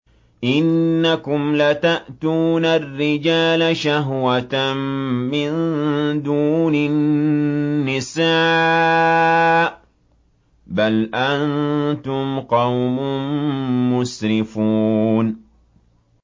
إِنَّكُمْ لَتَأْتُونَ الرِّجَالَ شَهْوَةً مِّن دُونِ النِّسَاءِ ۚ بَلْ أَنتُمْ قَوْمٌ مُّسْرِفُونَ